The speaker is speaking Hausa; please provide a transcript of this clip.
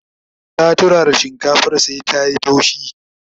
ta turara shinkafar sai ta.yi taushi